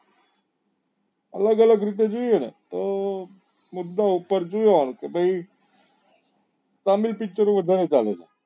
અલગ અલગ રીતે જોઈએ ને તો બધા ઉપર જોવા નું કે ભાઈ તમિલ picture ઓ વધારે ચાલે છે